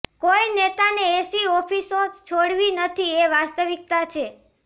કોઈ નેતાને એસી ઓફિસો છોડવી નથી એ વાસ્તિવક્તા છે